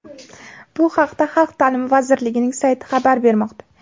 Bu haqda Xalq ta’limi vazirligining sayti xabar bermoqda .